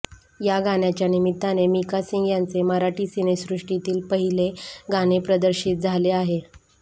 या गाण्याच्या निमित्ताने मिका सिंग यांचे मराठी सिनेसृष्टीतील पाहिले गाणे प्रदर्शित झाले आहे